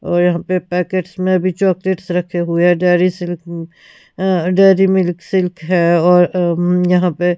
और यहां पे पैकेट्स में भी चॉकलेट्स रखे हुए हैं डेरी सिल्क अ डेरी मिल्क सिल्क है और यहां पे--